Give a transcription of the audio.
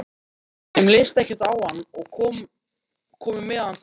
Þeim leist ekkert á hann og komu með hann hingað.